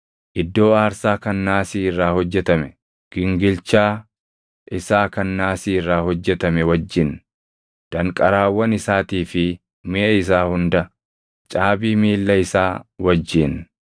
iddoo aarsaa kan naasii irraa hojjetame, gingilchaa isaa kan naasii irraa hojjetame wajjin, danqaraawwan isaatii fi miʼa isaa hunda, caabii miilla isaa wajjin;